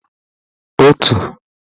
otu